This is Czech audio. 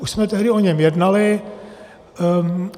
Už jsme tehdy o něm jednali.